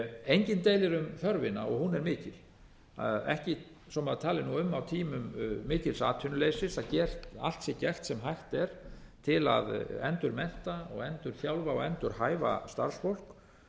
enginn deilir um þörfina og hún er mikil svo maður tali nú um á tímum mikils atvinnuleysis að hér sé allt gert sem hægt er til að endurmennta og endurþjálfa og endurhæfa starfsfólk